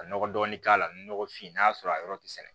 Ka nɔgɔ dɔɔni k'a la ni nɔgɔ fin n'a sɔrɔ a yɔrɔ ti sɛnɛ